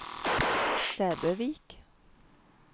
Sæbøvik